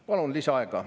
Palun lisaaega.